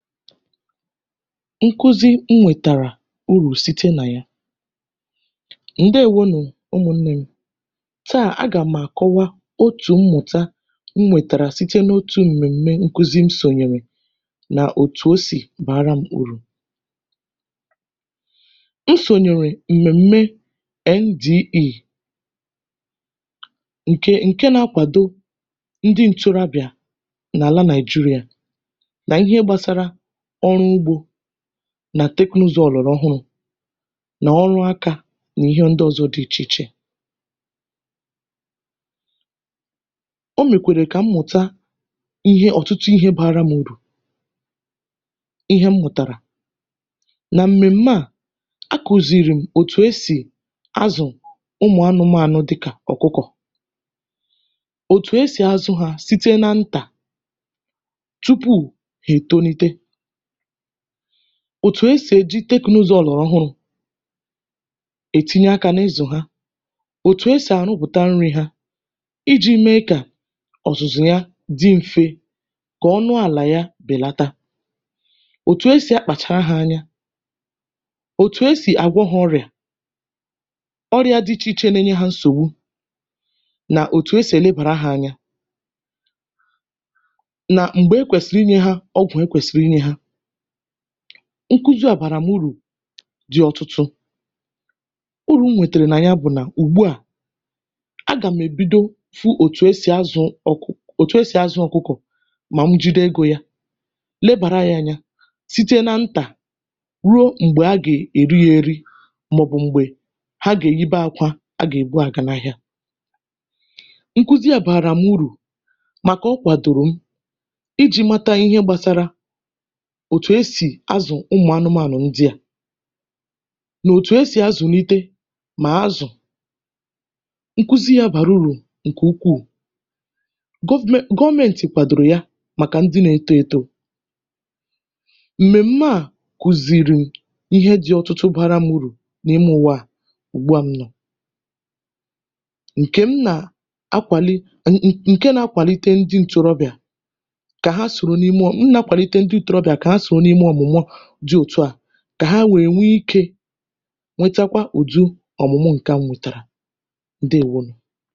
nkuzi m nwètàrà urù site nà yà. ǹdèwo nụ̀. tà, a gà m àkọwa otù mmụ̀ta m wètàra site n’otū m̀mẹ̀m̀mẹ nkuzị m sònyẹ̀rẹ̀, nà òtù o sì bàara m urù. I sònyèrè mmèm̀me NDE, ǹkè ǹke na akwàdo ndị ntorobị̀à n’àla Nàị̀jịrị̀à, mà ọ̀ ihe gbasara ọrụ ugbō, nà teknụzụ ọ̀gbàrà ọhụrụ̄, ọrụ akā, nà ịhẹ ndị ọzọ dị ichè ichè. o mèkwèrè ka m mụ̀ta ihe, ọ̀tụtụ ihe bara m urù. ihe m mụ̀tàrà. nà m̀mèm̀me à, a kùzìri m òtù e sì azụ̄ ụmụ̀ anụmànụ dịkà ọ̀kụkọ̀, òtù e sì azụ̄ ha, site na ntà, tupù hà è tonite. òtù e sì è ji tẹknụzụ ọ̀gbàrà ọhụrụ̄ è tinye akā n’ụzọ̀ ha, òtù e sì àrụpụ̀ta nrī ha, ijī me kà ọ̀zụ̀zụ ha dị mfe, kà ọnụ àlà ya bèlata, òtù e sì akpàchara ha anya, òtù e sì àgwọ ha ọrị̀à, ọrịā dị ichè ichè nae nye hā nsògbu, nà òtù e sì è nebàra ha anya, nà m̀gbè o kwèsị̀rị ịnyẹ ha ọgwụ̀ o kwèsị̀rị ịnyẹ̄ ha. nkuzi àbàrà m urù dị̀ ọtụtụ. urù m rìtèrè nà ya bụ̀: a gà m èbido fụ òtù a sì azụ̄ ọkụkọ̀, mà m jide egō ya, nebàra ya anya, site na ntà, ruo m̀gbè a gà èri ya eri, mà ọ̀ bụ̀ m̀gbẹ̀, ha gà èyibe akwa a gà èbu àga n’ahịa. nkuzi à bàrà m urù, màkà ị kwàdòrò m, ijī mẹta ịhẹ gbasara òtù e sì azụ̀ ụmụ̀ anụmànụ̀ ndị à, nà òtù e sì azụ̀nite mà azụ̀. nkuzi yā bàrà urù ǹkè ukwù. gọvmẹ̀nt, gọmẹ̀ntị̀ kwàdòrò ya, màkà ndị na eto eto. mmèm̀me à kùzìrì m ihe dị ọtụtụ bara urù n’ime ụ̀wa à, n’ùgbu a m nọ̀. ǹkè m nà akwànite, ǹke na akwànite ndị ntorobị̀à kà ha sòro n’ime, m nà akwànite ndị ntorobị̀à kà ha sòro n’ime ọ̀mụ̀mụ dị òtù a, kà ha nwẹ̀ẹ nwe ikē, nwetakwa ụ̀dị ọ̀mụ̀ma ǹkẹ à m nwètàrà.